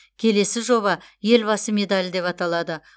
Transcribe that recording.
келесі жоба елбасы медалі деп аталады